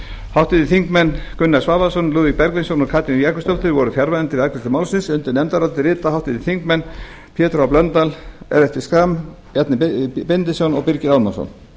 háttvirtir þingmenn gunnar svavarsson lúðvík bergvinsson og katrín jakobsdóttir voru fjarverandi við afgreiðslu málsins undir nefndarálitið rita háttvirtir þingmenn pétur h blöndal ellert b schram bjarni benediktsson og birgir ármannsson